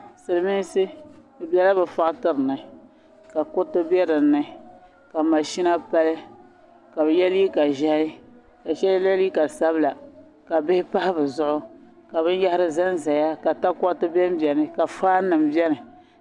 Paɣa n ʒe gbambili gbuni gbambila maa nyɛla zaɣi wɔɣili ka bi sabila sabi pa di zuɣu ni vɔt paɣa maa sola chinchini o nyɔɣu zuɣu ka yɛ liiga piɛlli ka wɔɣi nuu boɣu n niŋdi gbambila maa volini.